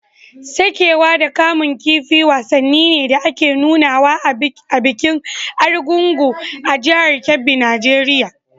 Saƙewa da kamun kifi wasanni ne da ake nunawa a bikin Argungu a jihar Kebbi Nijeriya.